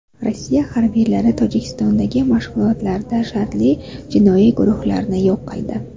Rossiya harbiylari Tojikistondagi mashg‘ulotlarda shartli jinoiy guruhlarni yo‘q qildi.